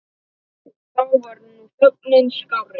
Þá var nú þögnin skárri.